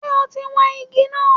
Ṣe ọ̀ ti wọn igi náà?